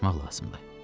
Ona hazırlaşmaq lazımdır.